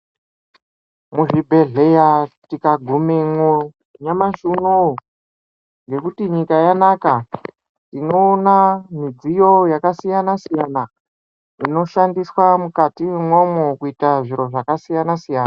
Muzvibhedhleya tukagumamwo nyamashi unowu nekuti nyika yanaka midziyo yakasiyana -siyana inoshandiswa mukati mo kuita zviro zvakasiyana -siyana .